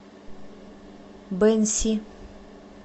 бэньси